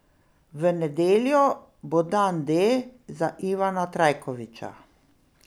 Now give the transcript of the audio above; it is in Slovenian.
V nedeljo bo dan D za Ivana Trajkovića.